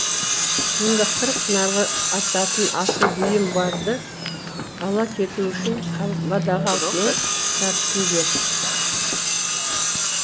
мұнда қырык нарға артатын асыл бұйым барды ала кету үшін қамбадағы алтынның жартысын бер